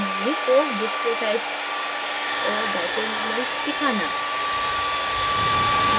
अणुओं में force display type और dipole moments दिखाना